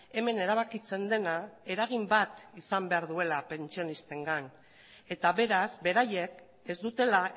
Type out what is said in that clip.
hemen erabakitzen dena eragin bat izan behar duela pentsionistengan eta beraz beraiek ez dutela